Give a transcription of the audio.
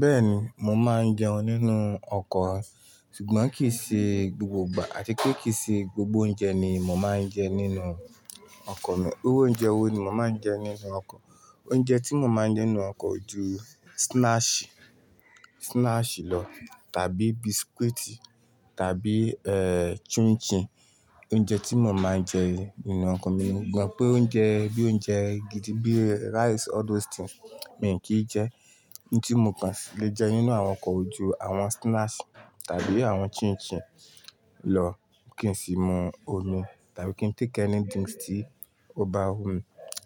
Bẹ́ẹ̀ni, mo máa ń jẹun nínú ọkọ̀, ṣùgbọ́n kì í ṣe gbogbo ìgbà àti pé kì í ṣe gbogbo oúnjẹ ni mo máa ń jẹ nínú ọkọ̀ mi. Irú oúnjẹ wo ni mo máa ń jẹ nínú ọkọ̀? Oúnjẹ tí mo máa ń jẹ nínú ọkọ̀ o ju snacks, snacks lọ tàbí biscuits tàbí, eh, chin chin. Oúnjẹ tí mo máa ń jẹ nínú ọkọ̀ mi, mo gbọ́n pé oúnjẹ bí i oúnjẹ gidi bíi rice, all those things, mi ò kí jẹ. Ohun tí mò kàn le jẹ nínú àwọn ọkọ̀ o ju àwọn snacks tàbí àwọn chin chin lọ, kí n sì mu omi tàbí kí n téèki ẹ̀nítìns tí ó bá hun.